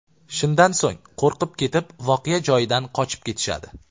Shundan so‘ng qo‘rqib ketib, voqea joyidan qochib ketishadi.